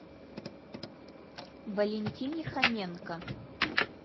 валентине хоменко